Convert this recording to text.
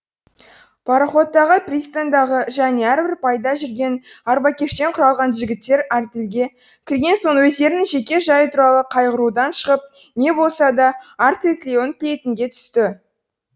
пароходтағы пристаньдағы және әрбір байда жүрген арбакештен құралған жігіттер артельге кірген соң өздерінің жеке жайы туралы қайғырудан шығып не болса да артель тілеуін тілейтінге түсті